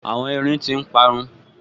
Àwọn erin tí n parun